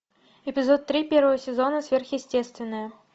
эпизод три первого сезона сверхъестественное